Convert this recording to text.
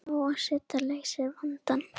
Há seta leysir vandann